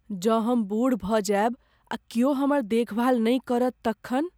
जँ हम बूढ़ भऽ जायब आ क्यौ हमर देखभाल नहि करत तखन?